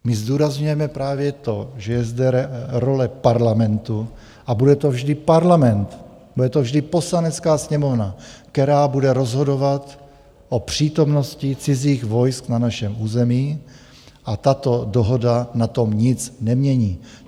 My zdůrazňujeme právě to, že je zde role Parlamentu a bude to vždy Parlament, bude to vždy Poslanecká sněmovna, která bude rozhodovat o přítomnosti cizích vojsk na našem území, a tato dohoda na tom nic nemění.